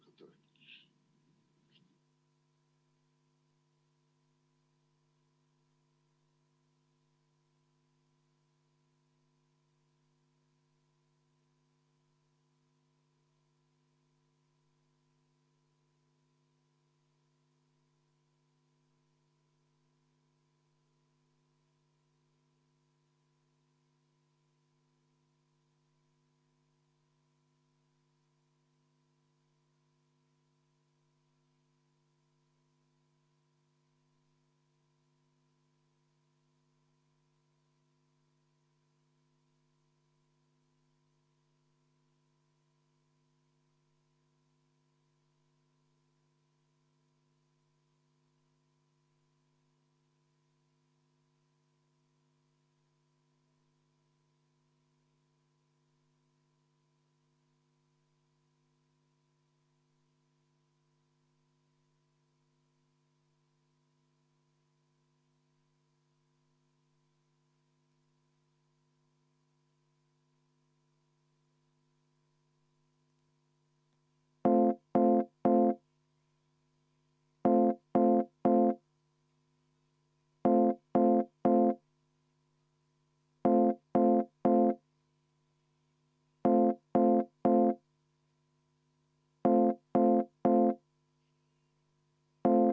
Aitäh!